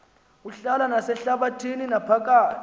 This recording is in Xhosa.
uhlala nasehlabathini naphakathi